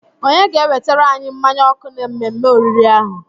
Onye ga-ewetara anyi mmanya ọkụ na mmemme oriri ahụ?